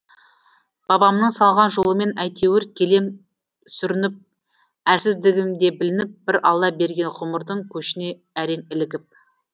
бабамның салған жолымен әйтеуір келем сүрініп әлсіздігім де білініп бір алла берген ғұмырдың көшіне әрең ілігіп